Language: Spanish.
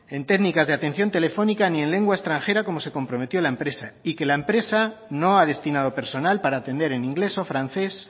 en técnicas de atención telefónica ni en lengua extranjera como se comprometió la empresa y que la empresa no ha destinado personal para atender en inglés o francés